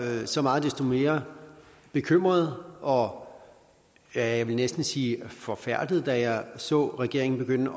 jeg så meget desto mere bekymret og jeg vil næsten sige forfærdet da jeg så regeringen begynde at